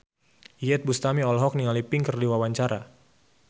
Iyeth Bustami olohok ningali Pink keur diwawancara